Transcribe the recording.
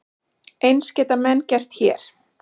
Eins geta menn gert hér.